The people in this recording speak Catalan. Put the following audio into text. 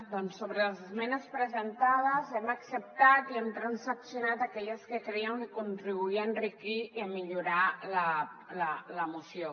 doncs sobre les esmenes presentades hem acceptat i hem transaccionat aquelles que crèiem que contribuïen a enriquir i a millorar la moció